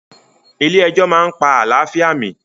Ilé ẹjọ́ máa pa àlàáfíà mi